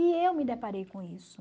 E eu me deparei com isso.